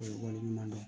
O ye wali ɲuman dɔ ye